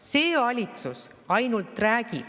See valitsus ainult räägib.